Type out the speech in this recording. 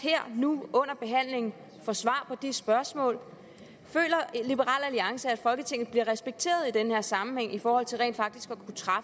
nu under behandlingen her får svar på det spørgsmål føler liberal alliance at folketinget bliver respekteret i den her sammenhæng i forhold til rent faktisk